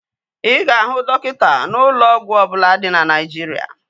Ị ga-ahụ dọkịta n'ụlọ ọgwụ ọbụla dị na Naijiria